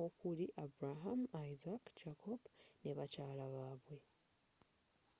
okuli abraham isaac jacob ne bakyala babwe